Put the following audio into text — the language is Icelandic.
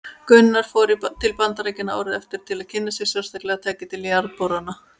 Gunnar fór til Bandaríkjanna árið eftir til að kynna sér sérstaklega tæki til jarðborana.